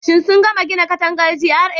Shin sun gama gina katangar GRA?